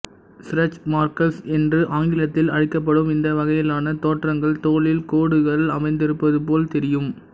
stretch marks என்று ஆங்கிலத்தில் அழைக்கப்படும் இந்த வகையிலான தோற்றங்கள் தோலில் கோடுகள் அமைந்திருப்பதுபோல் தெரியும்